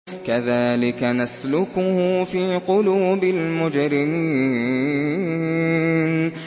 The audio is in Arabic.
كَذَٰلِكَ نَسْلُكُهُ فِي قُلُوبِ الْمُجْرِمِينَ